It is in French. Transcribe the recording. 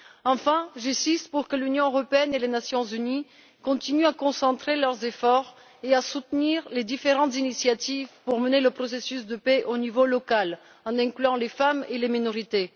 Enfin, j'insiste pour que l'Union européenne et les Nations unies continuent à concentrer leurs efforts et à soutenir les différentes initiatives pour mener le processus de paix au niveau local, en incluant les femmes et les minorités.